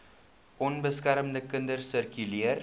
onbeskermde kinders sirkuleer